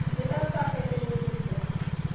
ну ты сам сказал что у тебя элита теперь